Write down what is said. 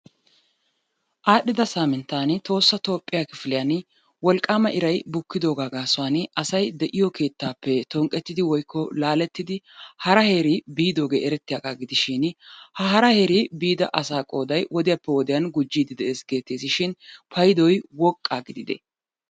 Aadhdhida saminttan Tohossa Toophiyaa kifilliyaan wolqqama iray bukkidooga gaasuwan asay de'iyo keettappe tonqqettidi woykko laalettidi hara heeri biidoge eretiuaaga gidishin ha hara heeri biida asa qooday wodiyaappe wodiyaan gujjide de'ees geteshin payddoy woqqa gidide?